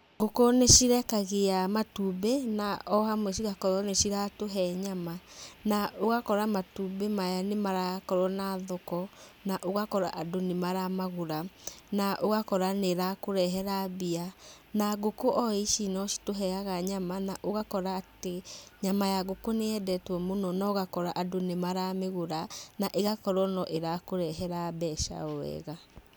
Ngũkũ nicirekagia matumbĩ, na o hamwe cigakorũo nĩciratũhe nyama. Na ũgakora matumbĩ maya nĩmarakorũo na thoko, na ũgakora andũ nĩmaramagũra. Na ũgakora nĩrakũrehera mbia. Na ngũkũ o ici no citũheaga nyama, na ũgakora atĩ, nyama ya ngũkũ nĩyendetũo mũno, na ugakora atĩ andũ nĩmaramĩgũra, na ĩgakorũo no ĩrakũrehera mbeca o wega.